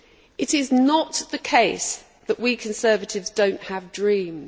It is not the case that we Conservatives do not have dreams.